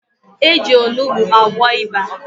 Eji Onugbu agwọ ịba